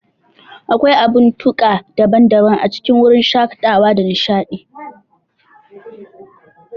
Akwai abun tuka daban-daban a cikin wurin shakatawa da nishadi.